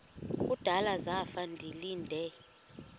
kudala zafa ndilinde